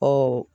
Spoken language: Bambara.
Ɔ